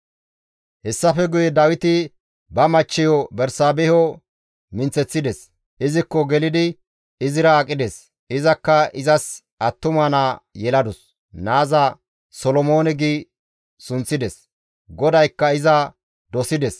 Hessafe guye Dawiti ba machcheyo Bersaabeho minththeththides; izikko gelidi izira aqides; izakka izas attuma naa yeladus; naaza, «Solomoone» gi sunththides; GODAYKKA iza dosides;